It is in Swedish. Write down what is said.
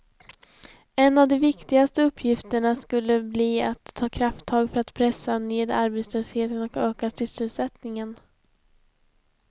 En av de viktigaste uppgifterna skulle bli att ta krafttag för att pressa ned arbetslösheten och öka sysselsättningen.